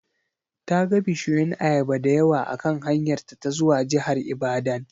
Ta ga bishiyun ayaba dayawa akan hanyarta ta zuwa jihar Ibadan.